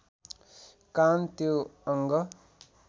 कान त्यो अङ्ग